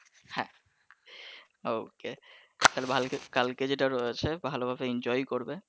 হ্যা okay তাহলে কালকে যেটা রয়েছে ভালো ভাবে enjoy করবে।